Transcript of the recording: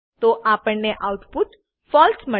તો આપણને આઉટપુટ ફળસે